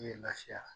Ne ye lafiya